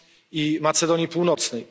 i Macedonii Północnej.